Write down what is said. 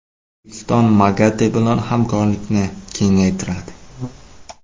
O‘zbekiston MAGATE bilan hamkorlikni kengaytiradi.